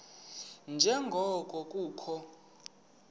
nje ngoko kukho